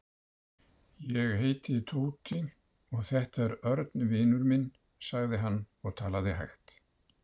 Ég heiti Tóti og þetta er Örn vinur minn sagði hann og talaði hægt.